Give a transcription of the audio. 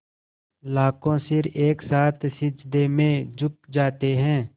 लाखों सिर एक साथ सिजदे में झुक जाते हैं